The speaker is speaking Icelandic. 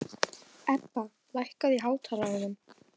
Ebba, lækkaðu í hátalaranum.